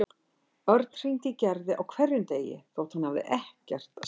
Örn hringdi í Gerði á hverjum degi þótt hann hafði ekkert að segja.